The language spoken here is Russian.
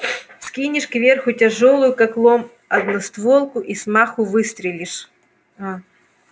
вскинешь кверху тяжёлую как лом одностволку и с маху выстрелишь аа